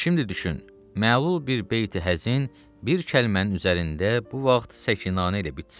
Şimdi düşün, məlul bir beyti həzin bir kəlmənin üzərində bu vaxt səkinanə ilə bitsin.